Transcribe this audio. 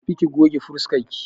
Tafi ki goge fuskarki!